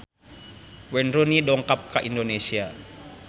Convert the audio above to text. Wayne Rooney dongkap ka Indonesia